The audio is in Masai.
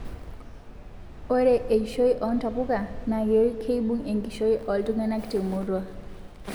Ore eishoii o ntapuka naa kibung enkishui oltungana temurua